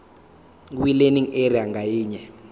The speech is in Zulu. kwilearning area ngayinye